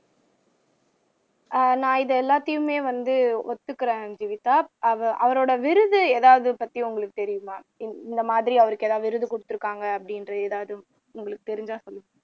நான் இது எல்லாத்தையுமே வந்து ஒத்துக்கிறேன் ஜீவிதா அவரோட விருது ஏதாவது பத்தி உங்களுக்கு தெரியுமா இந்த மாதிரி அவருக்கு எதாவது விருது குடுத்து இருக்காங்க அப்படின்ற ஏதாவது உங்களுக்கு தெரிஞ்சா சொல்லுங்க